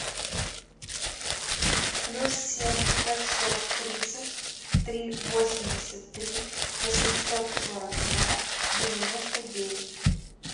плюс семь пятьсот тридцать три восемьдесят три восемьсот сорок два девяносто девять